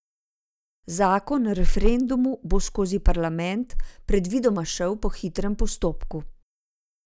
Zakon o referendumu bo skozi parlament predvidoma šel po hitrem postopku.